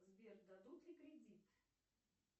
сбер дадут ли кредит